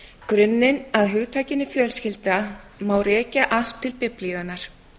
grunninn að hugtakinu fjölskylda má rekja allt til biblíunnar